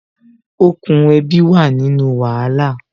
Okùn ẹbi wà nínú wàhálà